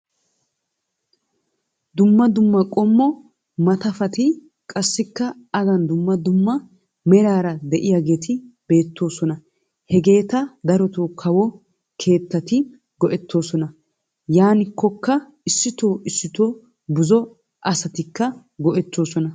Dumma dumma qommo maatafatti qassikka adan dumma dumma meraara de'iyaageti beettoosona. Hageeta darotoo kawo keettati go"ettoosona. Yaanikoka isitoo issitoo buzo asatikka go"ettoosona.